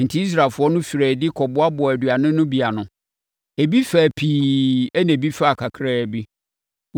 Enti, Israelfoɔ no firii adi kɔboaboaa aduane no bi ano. Ebi faa pii ɛnna ebi faa kakraa bi.